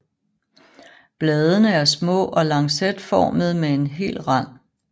Bladene er små og lancetformede med hel rand